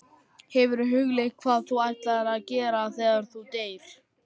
Hefurðu hugleitt hvað þú ætlar að gera þegar hún deyr?